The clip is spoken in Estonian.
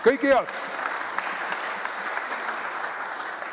Kõike head!